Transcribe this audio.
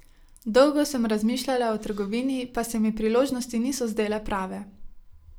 Dolgo sem razmišljala o trgovini, pa se mi priložnosti niso zdele prave.